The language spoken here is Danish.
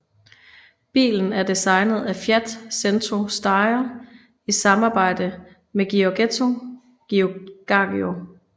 Bilen er designet af Fiat Centro Stile i samarbejde med Giorgetto Giugiaro